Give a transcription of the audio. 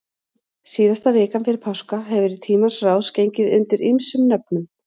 Síðasta vikan fyrir páska hefur í tímans rás gengið undir ýmsum nöfnum.